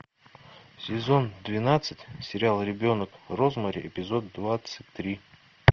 сезон двенадцать сериал ребенок розмари эпизод двадцать три